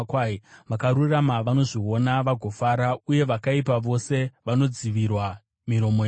Vakarurama vanozviona vagofara, asi vakaipa vose vanodzivirwa miromo yavo.